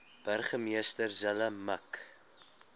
burgemeester zille mik